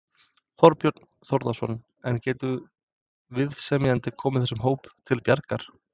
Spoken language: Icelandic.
Þorbjörn Þórðarson: En getur viðsemjandinn komið þessum hópi til bjargar?